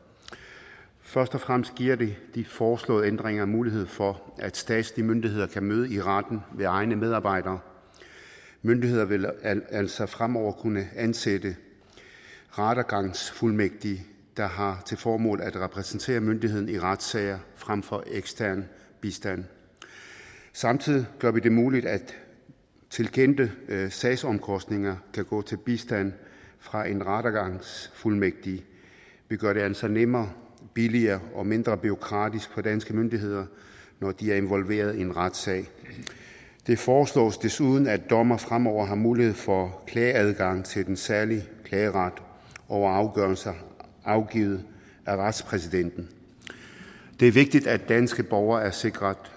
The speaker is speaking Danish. først og fremmest giver de foreslåede ændringer mulighed for at statslige myndigheder kan møde i retten ved egne medarbejdere myndigheder vil altså fremover kunne ansætte rettergangsfuldmægtige der har til formål at repræsentere myndigheden i retssager frem for ekstern bistand samtidig gør vi det muligt at tilkendte sagsomkostninger kan gå til bistand fra en rettergangsfuldmægtig vi gør det altså nemmere billigere og mindre bureaukratisk for danske myndigheder når de er involveret i en retssag det foreslås desuden at dommere fremover har mulighed for klageadgang til den særlige klageret over afgørelser afgivet af retspræsidenten det er vigtigt at danske borgere er sikret